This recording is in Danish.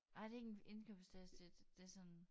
Nej det ikke en indkøbstaske det sådan